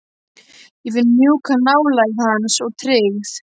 Ég finn mjúka nálægð hans og tryggð.